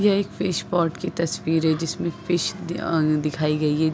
ये एक fish pot की तस्वीर है जिसमे फिश अ दिखाई गई है।